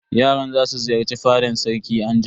Yaran za su ziyarci fadan sarki anjima.